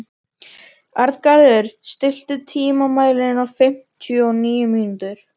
Arngarður, stilltu tímamælinn á fimmtíu og níu mínútur.